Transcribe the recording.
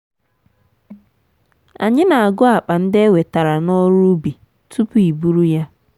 anyị na-agụ akpa ndị e wetara n'ọru ubi tupu iburu ya.